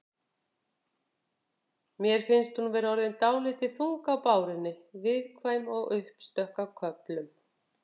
Mér finnst hún vera orðin dálítið þung á bárunni. viðkvæm og uppstökk á köflum.